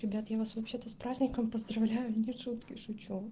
ребят я вас вообще-то с праздником поздравляю не шутки шучу